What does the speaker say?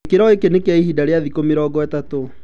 Gĩkĩro gĩkĩ nĩ kia ihinda rĩa thikũ mũrongo ĩtatũ.